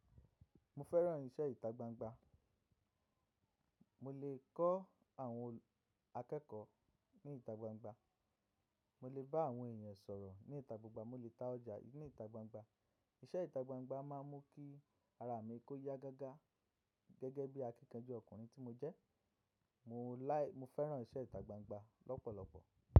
Mo fẹ́ràn iṣẹ́ ìta gbangba, mo lè kọ́ àwọn akẹ́kọ̀ọ́ ní ìta gbangba, mo lè bá àwọn èèyàn sọ̀rọ̀ ní ìta gbangba, mo lè ta ọjà ní ìta gbangba. Iṣẹ́ ìta gbangba máa ń mú kí ara mi kó yá gágá gẹ́gẹ́ bí akíkanjú ọkùnrin tí mo jẹ́. Mo láì, mo fẹ́ràn iṣẹ́ ìta gbangba lọ́pọ̀lọpọ̀.